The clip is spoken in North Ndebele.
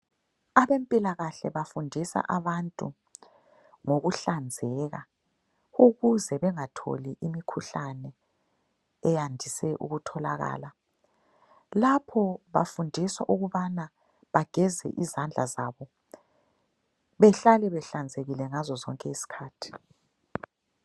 Abempilakahle bafundisa abantu ngokuhlanzeka ukuze bengatholi imikhuhlane eyandise ukutholakala. Lapho bafundiswa ukubana bageze izandla zabo behlale behlanzekile ngazo zonke izikhathi.